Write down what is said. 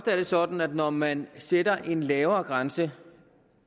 er det sådan at når man sætter en lavere grænse